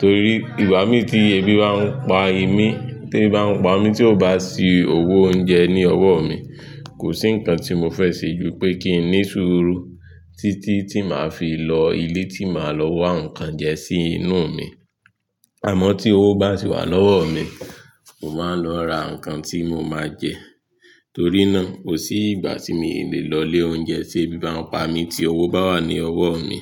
Torí ìwà mi tí ebi bá ń pa èmi, tí bá ń pa mí tí ò bá sí owó oúnjẹ ní ọwọ́ mi, kò sí nǹkan tí mo fẹ́ ṣe ju pé kí n ní sùúrù títí tí màá fi lọ ilé tí màá lọ wá nǹkan jẹ sí inú mi. Àmọ́ tí owó bá ti wà lọ́wọ́ mi, mo máa ń lọ ra nǹkan tí mo máa jẹ. Torí náà, kò sí ìgbà tí mi ò le lọ ilé oúnjẹ tí ebi bá ń pa mí tí owó bá wà ní ọwọ́ mi.